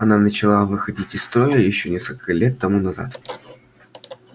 она начала выходить из строя ещё несколько лет тому назад